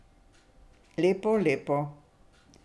Lepo, lepo.